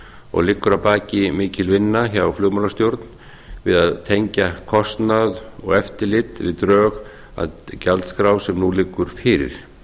og liggur að baki mikil vinna hjá flugmálastjórn við að tengja kostnað og eftirlit við drög að gjaldskrá sem nú liggur fyrir